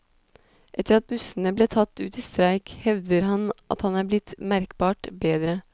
Etter at bussene ble tatt ut i streik, hevder han at han er blitt merkbart bedre.